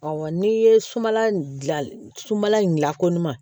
Ɔ n'i ye sumala dilan sunbala in dilanko ɲuman